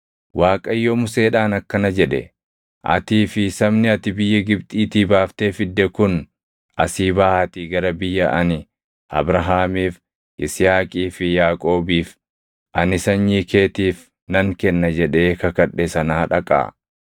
Waaqayyo Museedhaan akkana jedhe; “Atii fi sabni ati biyya Gibxiitii baaftee fidde kun asii baʼaatii gara biyya ani Abrahaamiif, Yisihaaqii fi Yaaqoobiif, ‘Ani sanyii keetiif nan kenna’ jedhee kakadhe sanaa dhaqaa.